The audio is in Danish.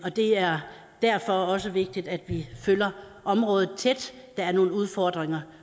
og det er derfor også vigtigt at vi følger området tæt der er nogle udfordringer